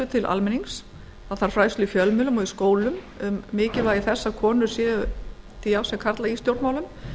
til almennings það þarf fræðslu í fjölmiðlum og í skólum um mikilvægi þess að konur séu til jafns við karla í stjórnmálum